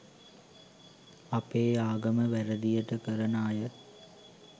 අපේ ආගම වැරදියටකරන අය